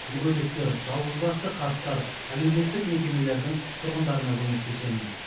мүгедектер жалғызбасты қарттар әлеуметтік мекемелердің тұрғындарына көмектесемін